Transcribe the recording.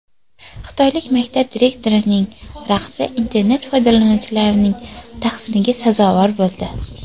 Xitoylik maktab direktorining raqsi internet foydalanuvchilarining tahsiniga sazovor bo‘ldi .